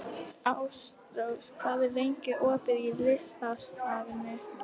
Ástrós, hvað er lengi opið í Listasafninu?